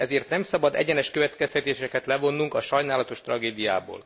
Ezért nem szabad egyenes következtetéseket levonnunk a sajnálatos tragédiából.